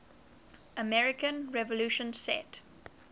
american revolution set